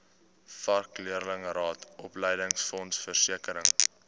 vakleerlingraad opleidingsfonds versekering